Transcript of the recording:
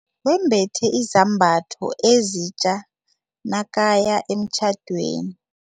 Wembethe izambatho ezitja nakaya emtjhadweni.